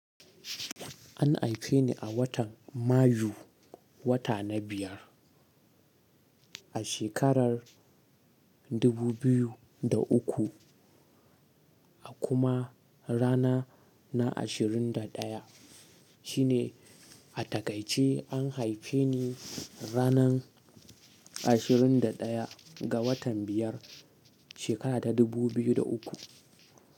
An haife ni a watan Mayu, wata na biyar, a shekarar 2003, a kuma ranar na ashirin da daya shine a takaice an haife ranar ashirin da daya ga watan biyar shekara ta dubu biyu da uku.